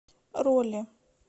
роли